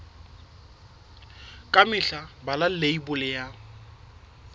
ka mehla bala leibole ya